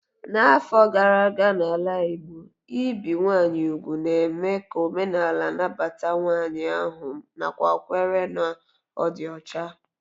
N'afọ gara aga n'ala Igbo, ibi ụmụ nwanyị úgwù na-eme ka omenaala na-anabata nwanyị ahu nakwa nkwere na ọ dị ọcha.